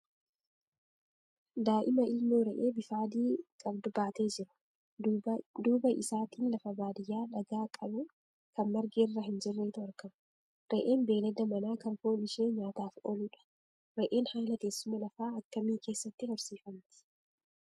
Daa'ima ilmoo re'ee bifa adii qabdu baatee jiru. Duuba isaatiin lafa baadiyaa dhagaa qabu kan margi irra hin jirretu argama. Re'een beelada manaa kan foon ishee nyaataaf ooludha. Re'een haala teessuma lafaa akkamii keessatti horsiifamti?